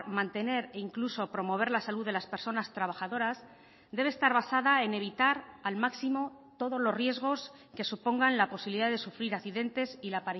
mantener e incluso promover la salud de las personas trabajadoras debe estar basada en evitar al máximo todos los riesgos que supongan la posibilidad de sufrir accidentes y la